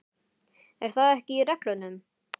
Er það ekki í reglunum?